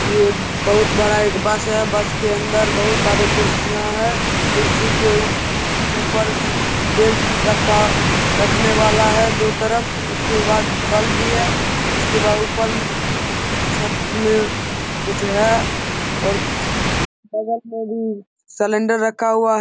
यह बहुत बड़ा एक बस है। बस के अंदर बहुत सारे कुर्सियां है। कुर्सी के उप ऊपर बैग रखा रखने वाला है दो तरफ उसके बाद बल्ब भी है। उसके बाद ऊपर छत में कुछ है। और बगल मे भी सिलेंडर रखा हुआ।